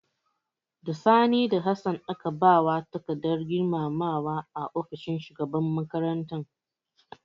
Da Sani da Hassan aka ba wa takardar girmamawa a ofishin shugaban makaranta.